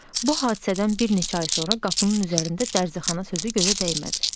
Bu hadisədən bir neçə ay sonra qapının üzərində dərzixana sözü gözə dəymədi.